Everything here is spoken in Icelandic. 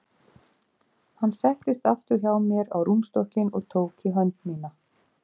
Hann settist aftur hjá mér á rúmstokkinn og tók í hönd mína.